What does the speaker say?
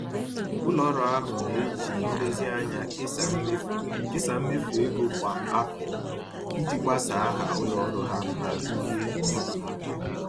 Ụlọ ọrụ ahụ na-eji nlezianya kesaa mmefu kesaa mmefu ego kwa afọ iji gbasaa aha ụlọ ọrụ ha ma bulie uru ha